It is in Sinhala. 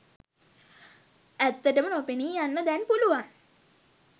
ඇත්තටම නොපෙනී යන්න දැන් පුළුවන්